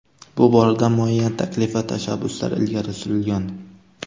Bu borada muayyan taklif va tashabbuslar ilgari surilgan.